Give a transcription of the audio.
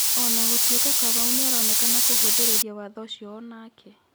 onagukorwo Kamau nĩaronekana kũhũthĩrĩria watho ũcio onake.